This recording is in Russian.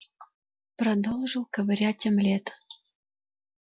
продолжил ковырять омлет